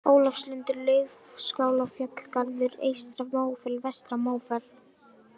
Ólafslundur, Laufskálafjallgarður, Eystra-Mófell, Vestra-Mófell